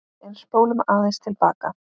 En spólum aðeins til baka.